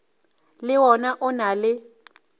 le wona o na le